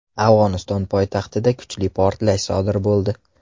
Afg‘oniston poytaxtida kuchli portlash sodir bo‘ldi.